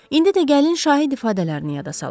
İndi də gəlin şahid ifadələrini yada salaq.